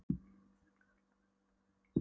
Sérstaklega átti Lárus erfitt með að hemja sig.